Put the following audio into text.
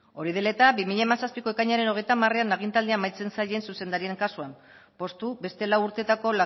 hori dela eta bi mila hamazazpiko ekainaren hogeita hamarean agintaldia amaitzen zaien zuzendarien kasuan poztu beste lau urtetako